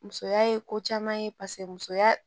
Musoya ye ko caman ye paseke musoya